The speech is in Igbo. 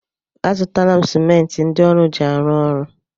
A zụtala m simenti ndị ọrụ ji arụ ọrụ.